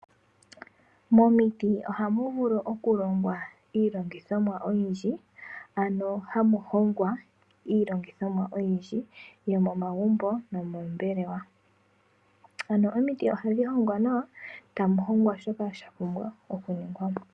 Momiti ohamu vulu okulongwa iilongithomwa oyindji, ano hamu hongwa iilongithomwa oyindji, yomomagumbo, nomoombelewa. Ano omiti ohadhi hongwa nawa, tamu hongwa shoka shapumbwa okuningwa mo.